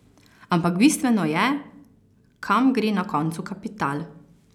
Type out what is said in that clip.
Ampak bistveno je, kam gre na koncu kapital?